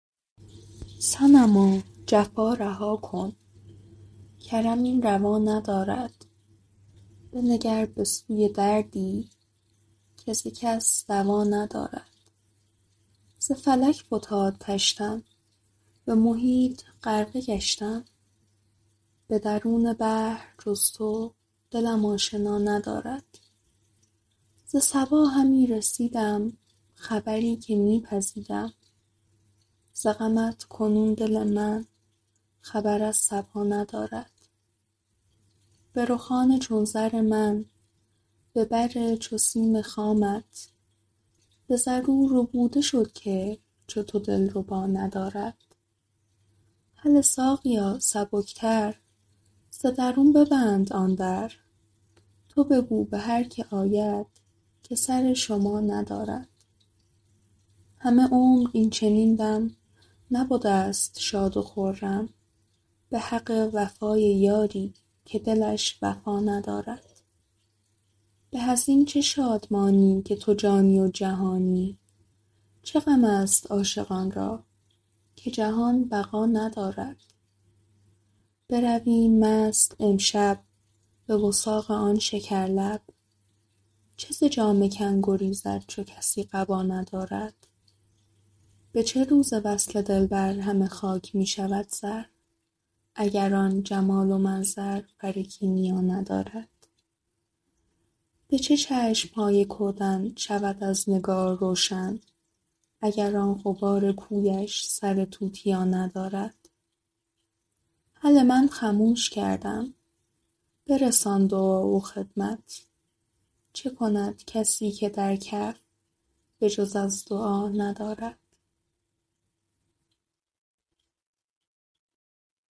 صنما جفا رها کن کرم این روا ندارد بنگر به سوی دردی که ز کس دوا ندارد ز فلک فتاد طشتم به محیط غرقه گشتم به درون بحر جز تو دلم آشنا ندارد ز صبا همی رسیدم خبری که می پزیدم ز غمت کنون دل من خبر از صبا ندارد به رخان چون زر من به بر چو سیم خامت به زر او ربوده شد که چو تو دلربا ندارد هله ساقیا سبکتر ز درون ببند آن در تو بگو به هر کی آید که سر شما ندارد همه عمر این چنین دم نبدست شاد و خرم به حق وفای یاری که دلش وفا ندارد به از این چه شادمانی که تو جانی و جهانی چه غمست عاشقان را که جهان بقا ندارد برویم مست امشب به وثاق آن شکرلب چه ز جامه کن گریزد چو کسی قبا ندارد به چه روز وصل دلبر همه خاک می شود زر اگر آن جمال و منظر فر کیمیا ندارد به چه چشم های کودن شود از نگار روشن اگر آن غبار کویش سر توتیا ندارد هله من خموش کردم برسان دعا و خدمت چه کند کسی که در کف به جز از دعا ندارد